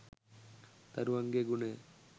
දරුවන්ගේ ගුණය